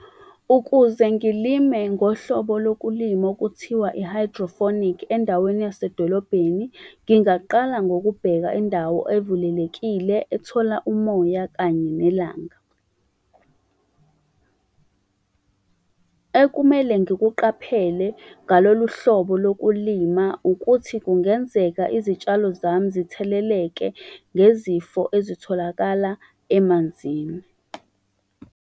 Ukuze ngilime ngohlobo lokulima okuthiwa endaweni yasedolobheni, ngingaqala ngokubheka indawo evulelekile, ethola umoya, kanye nelanga . Ekumele ngikuqaphele ngalolu hlobo lokulima, ukuthi kungenzeka izitshalo zami zitheleleke ngezifo ezitholakala emanzini.